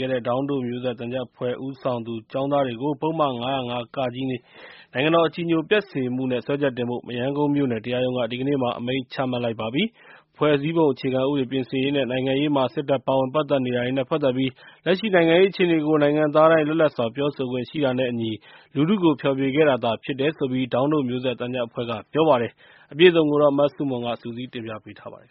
ခဲ့တဲ့ ဒေါင်းတို့မျိုးဆက်သံချပ်အဖွဲ့ ဦးဆောင်သူ ကျောင်းသားတွေကို ပုဒ်မ ၅၀၅ နိုင်ငံတော် အကြည်ညိုပျက်စေမှုနဲ့ စွဲချက်တင်ဖို့ မရမ်းကုန်းမြို့နယ် တရားရုံးက ဒီကနေ့အမိန့်ချမှတ်လိုက်ပါပြီ။ ဖွဲ့စည်းပုံ အခြေခံဥပဒေပြင်ဆင်ရေးနဲ့ နိုင်ငံရေးမှာ စစ်တပ် ပါဝင်နေတာတွေနဲ့ပတ်သက်ပြီး လက်ရှိနိုင်ငံရေး အခြေအနေကို နိုင်ငံသားတိုင်း လွတ်လပ်စွာပြောဆိုခွင့်ရှိတာနဲ့အညီ လူထုကိုဖျော်ဖြေခဲ့တာသာဖြစ်တယ်လို့ ဒေါင်းတို့မျိုးဆက်သံချပ်အဖွဲ့က ပြောပါတယ်။ မဆုမွန် စုစည်းတင်ပြပေးထားပါတယ်။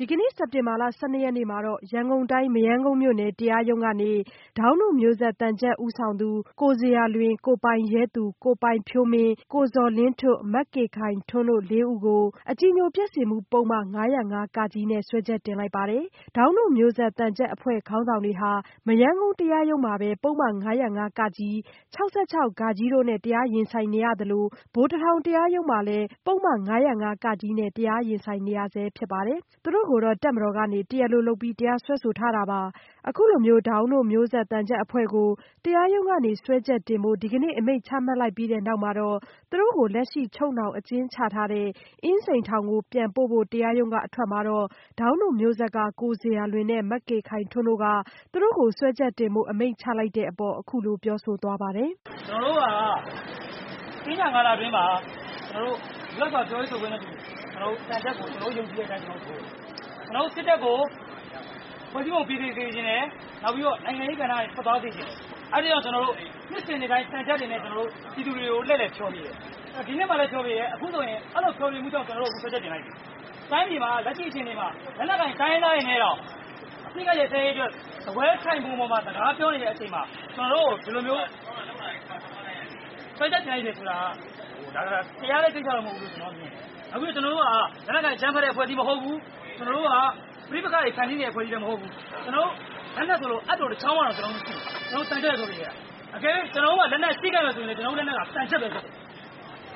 ဒီကနေ့ စက်တင်ဘာလ ၁၂ ရက်နေ့ မှာ ရန်ကုန်တိုင်း မရမ်းကုန်းမြို့နယ် တရားရုံးကနေ ဒေါင်းတို့မျိုးဆက် သံချပ်ဦးဆောင်သူ ကိုဇေယျာလွင်၊ ကိုပိုင်ရဲသူ၊ ကိုပိုင်ဖြိုးမင်း၊ ကိုဇော်လင်းထွဋ်၊ မကေခိုင်ထွန်းတို့ လေးဦးကို အကြည်ညိုပျက်စေမှု ပုဒ်မ ၅၀၅ နဲ့ စွဲချက်တင်လိုက်ပါတယ်။ ဒေါင်းတို့မျိုးဆက် သံချပ်အဖွဲ့ ခေါင်းဆောင်တွေဟာ မရမ်းကုန်း တရားရုံးမှာ ပုဒ်မ ၅၀၅ ၊ ၆၆ တို့နဲ့ တရားရင်ဆိုင်နေရသလို ဗိုလ်တထောင် တရားရုံးမှာလည်း ပုဒ်မ ၅၀၅ နဲ့ တရားရင်ဆိုင်နေရဆဲ ဖြစ်ပါတယ်။ သူတို့ကို တပ်မတော်က တရားလိုလုပ်ပြီး တရားစွဲထားတာပါ။ ဒေါင်းတို့မျိုးဆက်သံချပ်အဖွဲ့ကို တရားရုံးကနေ စွဲချက်တင်ဖို့ ဒီကနေ့ အမိန့်ချမှတ်လိုက်ပြီးတဲ့နောက် သူတို့ကို လက်ရှိချုပ်နှောင် အကျဉ်းချထားတဲ့ အင်းစိန်ထောင်ကိုပြန်ပို့ဖို့ တရားရုံးကအထွက်မှာတော့ ဒေါင်းတို့မျိုးဆက်က ကိုဇေယျာလွင်နဲ့ မကေခိုင်ထွန်းတို့က သူတို့ကို စွဲချက်တင်ဖို့ အမိန့်ချလိုက်တဲ့အပေါ် အခုလိုပြောဆိုသွားပါတယ်။ “ကျနော်တို့က သင်္ကြန်ကာလအတွင်းမှာ ကျနေ်ာတို့က လွတ်လပ်စွာပြောဆိုတာကို ယုံကြည်တဲ့အတွက် သင်္ကြန်သံချပ် ထိုးတယ်။ ကျနေ်ာတို့ စစ်တပ်ကို ဖွဲ့စည်းပုံ ပြင်ဆင်စေချင်တယ်။ နောက်ပြီးတော့ နိုင်ငံရေးကဏ္ဍကနေ ထွက်သွားစေချင်တယ်။ အဲဒါကြောင့် ကျနော်တို့ နှစ်စဉ်နှစ်တိုင်း သံချပ်တွေနဲ့ ကျနော်တို့ ပြည်သူကို လှည့်လည်ဖျော်ဖြေတယ်။ ဒီနှစ်မှာလည်း ဖျော်ဖြေတယ် အခုဆိုရင် အဲဒီလိုဖျော်ဖြေတဲ့အတွက် ကျနော်တို့ကို စွဲချက်တင် ခံရတယ်။ တိုင်းပြည်မှာ လက်ရှိအခြေအနေမှာ လက်နက်ကိုင်တိုင်းရင်းသားတွေနဲ့တောင် စားပွဲထိုင်ခုံပေါ်မှာ လက်ရှိစကားပြောနေတဲ့အချိန်မှာ ကျနော်တို့ကို ဒီလိုမျိုးစွဲချက်တင်လိုက်တယ်ဆိုတာက တရားတဲ့ကိစ္စမဟုတ်ဘူးလို့ ကျနော်တို့ထင်တယ်။ အခုကျနော်တို့က လက်နက်ကိုင်အကြမ်းဖက်တဲ့ အဖွဲ့အစည်းမဟုတ်ဘူး။ ကျနော်တို့က ပဋိပက္ခတွေဖန်တီးနေတဲ့ အဖွဲ့အစည်းလည်း မဟုတ်ဘူး။ ကျနော်တို့ လက်နက်ဆိုလို့ အပ်တခေါင်းတောင်မရှိဘူး။ ကျနော်တို့က သံချပ်ပဲ လုပ်နေတာ။ တကယ်လို့ ကျနော်တို့မှာ လက်နက်ရှိခဲ့မယ်ဆိုရင် သံချက်ပဲဖြစ်တယ်။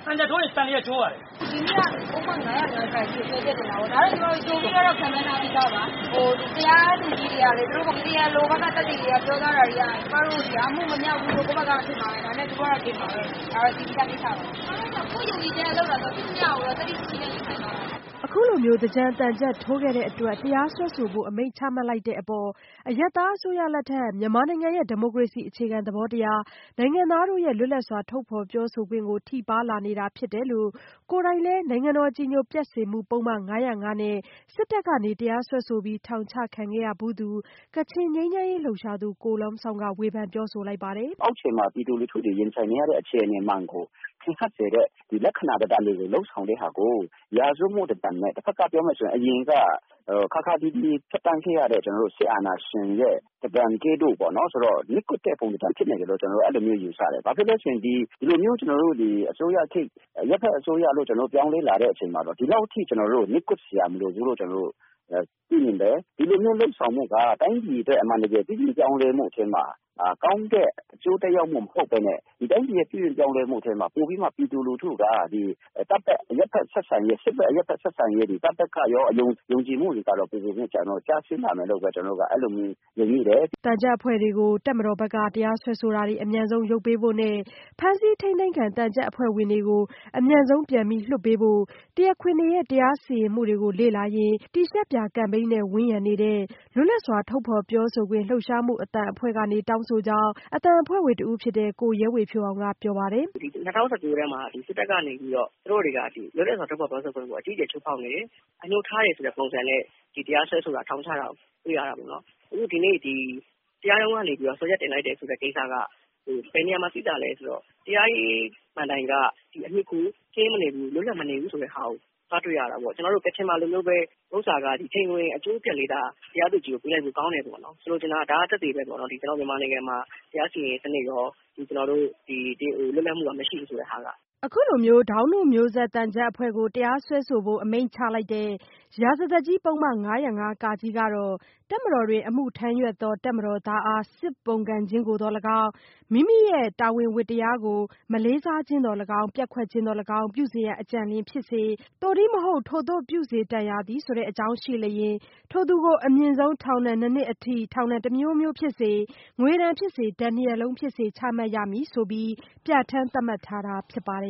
သံချက်ထိုးရင် သန်လျက် ကျိုးတယ်။” “ဒီနေ့ကတော့ ပုဒ်မ ၅၀၅ နဲ့ စွဲချက်တင်တာပေါ့ ဒါကတော့ ကြိုပြီးတော့ ခန့်မှန်းထားပြီးသားပါ။ တရားသူကြီးတွေကလည်း သူတို့ တရားလိုဘက်က သက်သေတွေ ပြောကြားတာတွေက ကျမတို့က အမှုမမြောက်ဘူးလို့ ထင်မှာပဲ ဒါပေမယ့် သူတို့ဘက်ကတော့ တင်မှာပဲ ဒါကတော့ သိပြီးသားကိစ္စပါ။ ကျမတို့တော့ ကိုယ့်ယုံကြည်ချက်နဲ့ လုပ်တာဆိုတော့ ရှိသမျှကိုတော့ သတ္တိရှိရှိနဲ့ ရင်ဆိုင်သွားမှာပါ။” အခုလိုမျိုး သင်္ကြန်သံချပ်ထိုးခဲ့တဲ့အတွက် တရားစွဲဆိုဖို့ အမိန့်ချမှတ်လိုက်တဲ့အပေါ် အရပ်သားအစိုးရလက်ထက် မြန်မာနိုင်ငံရဲ့ ဒီမိုကရေစီအခြေခံသဘောတရား၊ နိုင်ငံသားတို့ရဲ့ လွတ်လပ်စွာထုတ်ဖော်ပြောဆိုခွင့်ကို ထိပါးလာနေတာ ဖြစ်တယ်လို့ ကိုယ်တိုင်လည်း အကြည်ညိုပျက်စေမှု ပုဒ်မ ၅၀၅ နဲ့ စစ်တပ်က တရားစွဲဆိုပြီး ထောင်ချခံခဲ့ရဖူးသူ ကချင်ငြိမ်းချမ်းရေးလှုပ်ရှားသူ ကို Lum Zawng က ဝေဖန်ပြောဆိုပါတယ်။ “အောက်ခြေမှာ ပြည်သူလူထုတွေ ရင်ဆိုင်နေရတဲ့ အခြေအနေမှန်ကို ထင်ဟပ်စေတဲ့ လက္ခဏာတွေ လုပ်ဆောင်တာကို ရာဇဝတ်မှု လိုနဲ့ ပြောမယ်ဆိုရင် အရင်က ခါးခါးသီးသီး ဖြတ်သန်းခဲ့ရတဲ့ စစ်အာဏာရှင်ရဲ့ ပုံစံကဲ့သို့ နှိတ်ကွပ်တဲ့ ပုံစံဖြစ်နေတယ်လို့ ကျနော်တို့ ယူဆတယ်။ ဘာဖြစ်လို့လဲဆိုတော့ ဒီလိုမျိုး အရပ်ဘက်အစိုးရလို့ ပြောင်းလဲလာတဲ့အချိန်မှာတော့ ဒီလောက်အထိ ကျနော်တို့ကို နှိတ်ကွပ်စရာမလိုဘူးလို့ ပြီးရင်လည်း ဒီလိုမျိုးလုပ်ဆောင်မှုက တိုင်းပြည်အတွက် အမှန်တကယ် ပြုပြင်ပြောင်းလဲမှုထဲမှာ ကောင်းတဲ့အကျိုးသက်ရောက်မှု မဟုတ်ပဲနဲ့ တိုင်းပြည်ရဲ့ ပြုပြင်ပြောင်းလဲမှုထဲမှာ ပိုပြီးတော့ ပြည်သူလူထုက တပ်ဘက်၊ စစ်ဘက် အရပ်ဘက် ဆက်ဆံရေး တွေ တပ်ဘက်ကိုရော ယုံကြည်မှုတွေကတော့ ပိုပိုပြီး ကျဆင်းလာမယ်လို့ ကျနော်တို့ အဲလိုမျိုး မြင်မိပါတယ်။” သံချပ်အဖွဲ့တွေကို တပ်မတော်ဘက်က တရားစွဲဆိုတာတွေ အမြန်ဆုံးရုပ်ပေးဖို့နဲ့ ဖမ်းဆီးထိန်းသိမ်းခံ သံချပ်အဖွဲ့ဝင်တွေကို အမြန်ဆုံးပြန်လွှတ်ပေးဖို့ တရားခွင်တွေရဲ့ တရားစီရင်မှုတွေကို လေ့လာရင်း တီရှပ်ပြာကမ်ပိန်းနဲ့ ဝန်းရံနေတဲ့ လွတ်လပ်စွာ ထုတ်ဖော်ပြောဆိုခွင့်လှုပ်ရှားမှု အသံအဖွဲ့က တောင်းဆိုတဲ့အကြောင်း အသံအဖွဲ့ဝင် ကိုရဲဝေဖြိုးအောင်က ပြောပါတယ်။ “၂၀၁၉ ထဲမှာ စစ်တပ်ကနေပြီးတော့ သူတို့တွေက စစ်တပ်ကနေ လွတ်လပ်စွာထုတ်ဖော်ပြောဆိုခွင့်ကို အကြီးအကျယ်ချိုးဖောက်နေတယ်။ အငြိုးထားတယ်ဆိုတဲ့ပုံစံနဲ့ တရားစွဲဆိုတာ ထောင်ခုတာတွေ့ရတာပေါ့နော်။ အခုဒီနေ့ တရားရုံးကနေပြီးတော့ စွဲချက်တင်လိုက်တယ်ဆိုတဲ့ကိစ္စက ဘယ်နေရာမှာတွေ့ရသလဲဆိုတော့ တရားရေး မဏ္တိုင် လွတ်လပ်မနေဘူးဆိုတာတွေ့ရတာပေါ့။ ကျနော်တို့ ကချင်မှာလိုမျိုး ချိန်ခွင်အကျိုးလေး တရားသူကြီးကို ပေးလိုက်လို့ ထောင်ချတယ်ပေါ့နော်။ ဆိုလိုချင်တာကတော့ ကျနော်တို့မြန်မာနိုင်ငံမှာ တရားစီရင်ရေးစနစ်ရော လွတ်လပ်မှုကတော့ မရှိဘူးဆိုတာက။” ဒေါင်းတို့မျိုးဆက်သံချပ်အဖွဲ့ကို တရားစွဲဆိုဖို့ အမိန့်ချလိုက်တဲ့ ရာဇသတ်ကြီး ပုဒ်မ ၅၀၅ ကတော့ တပ်မတော်တွင် အမှုထမ်းရွက်သော တပ်မတော်သားအား စစ်ပုန်ကန်ခြင်းကိုသော်လည်းကောင်း၊ သက်ဆိုင်ရာ မိမိ၏တာဝန်ဝတ္တရားကို မလေးစားခြင်းသော်လည်းကောင်း ၊ ပျက်ကွက်ခြင်းသော်လည်းကောင်း ပြုစေရန်အကြံရှိလျှင်၊ သို့တည်းမဟုတ် ထိုသို့ပြုစေတန်ရာသည့် အကြောင်းရှိလျှင် ထိုသူကို အမြင့်ဆုံးထောင်ဒဏ် နှစ်နှစ်ထိ ထောင်ဒဏ် တစ်မျိုးမျိုးဖြစ်စေ၊ ငွေဒဏ်ဖြစ်စေ၊ ဒဏ်နှစ်ရပ်လုံးဖြစ်စေ ချမှတ်ရမည်ဆိုပြီး ပြဋ္ဌာန်းသတ်မှတ်ထားတာဖြစ်ပါတယ်